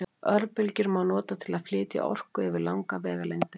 Örbylgjur má nota til að flytja orku yfir langar vegalengdir.